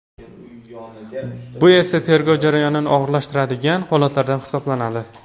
Bu esa tergov jarayonini og‘irlashtiradigan holatlardan hisoblanadi.